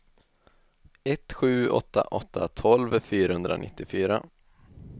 ett sju åtta åtta tolv fyrahundranittiofyra